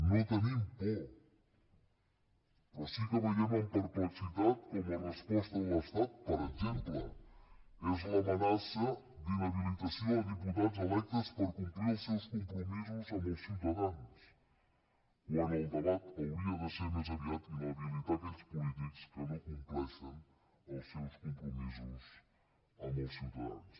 no tenim por però sí que veiem amb perplexitat com la resposta de l’estat per exemple és l’amenaça d’inhabilitació a diputats electes per complir el seus compromisos amb els ciutadans quan el debat hauria de ser més aviat inhabilitar aquells polítics que no compleixen els seus compromisos amb els ciutadans